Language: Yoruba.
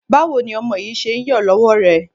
Báwo ni ọmọ yìí ṣe ń yọ lọ́wọ́ rẹ?